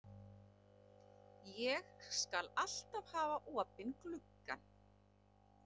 Ég skal alltaf hafa opinn gluggann.